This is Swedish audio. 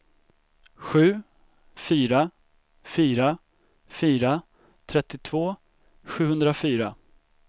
sju fyra fyra fyra trettiotvå sjuhundrafyra